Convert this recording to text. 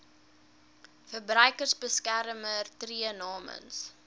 verbruikersbeskermer tree namens